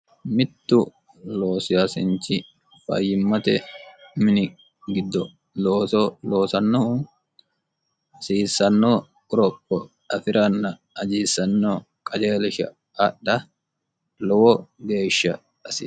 mittu loosiyaasinchi fayyimmate mini giddo looso loosannohu hasiissannoo uropo afi'ranna ajiissanno qajeelisha adha lowo geeshsha asi